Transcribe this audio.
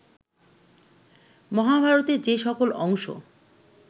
মহাভারতের যে সকল অংশ